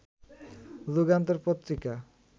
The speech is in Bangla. যুগান্তর পত্রিকা